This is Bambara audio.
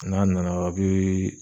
N'a nana a' bee